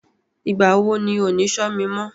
Ìgbà wo ni ò ní Ṣó mi mọ?